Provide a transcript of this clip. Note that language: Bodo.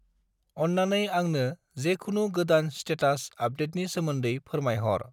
अन्नानै आंंनो जेखुनु गोदान स्टेटास आपदेटनि सोमोन्दै फोरमायहर।